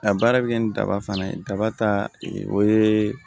A baara bɛ kɛ ni daba fana ye daba ta o ye